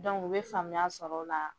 Dɔnku u bɛ faamuya sɔrɔ o la.